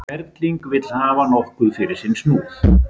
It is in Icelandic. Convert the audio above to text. Kerling vill hafa nokkuð fyrir sinn snúð.